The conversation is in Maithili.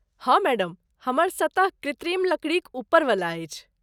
हाँ मैडम, हमर सतह कृत्रिम लकड़ीक ऊपर वाला अछि।